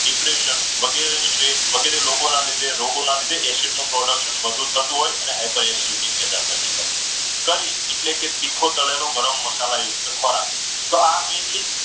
depression વગેરે state વગેરે લોકોના લીધે production acid નું વધુ થતું હોય એટલે high per acidity પેદા થતી હોય. એટલે કે તીખો તળેલો ગરમ મસાલા યુક્ત ખોરાક. mainly